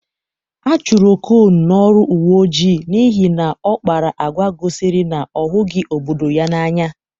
A chụrụ Okon n'ọrụ uwe ojii n'ihi na ọ kpara agwa gosiri na ọ hụghị obodo ya n'anya.